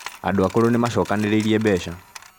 Andũ akũrũ nĩ maacokanĩrĩirie mbeca